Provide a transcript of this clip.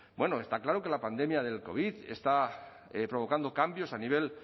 b ueno está claro que la pandemia del covid está provocando cambios a nivel